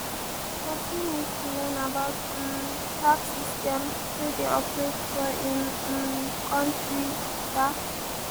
person need to learn about um di tax system wey dey operate for im um country um